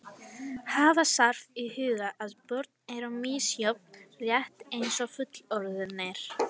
Hafa þarf í huga að börn eru misjöfn rétt eins og fullorðnir.